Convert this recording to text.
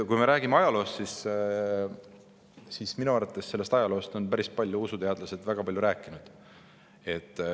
Kui me räägime ajaloost, siis minu arvates on usuteadlased sellest ajaloost väga palju rääkinud.